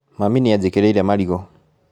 Mami nĩ anjĩkĩrĩire marigũ